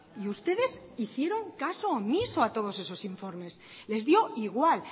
y ustedes hicieron caso omiso a todos esos informes les dio igual